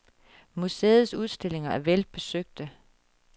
Museets udstillinger er vel besøgte.